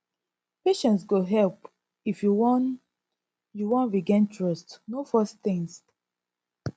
patience go help if you wan you wan regain trust no force things